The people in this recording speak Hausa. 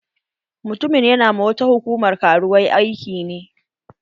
Mutumin ƴana ma wata hukumar karuwai aiki ne.